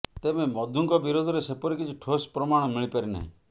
ତେବେ ମଧୁଙ୍କ ବିରୋଧରେ ସେପରି କିଛି ଠୋସ୍ ପ୍ରମାଣ ମିଳିପାରି ନାହିଁ